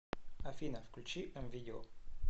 афина включи эм видео